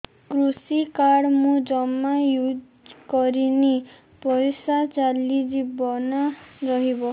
କୃଷି କାର୍ଡ ମୁଁ ଜମା ୟୁଜ଼ କରିନି ପଇସା ଚାଲିଯିବ ନା ରହିବ